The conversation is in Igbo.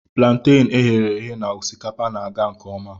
Plantain e ghere eghe na osikapa na-aga nke ọma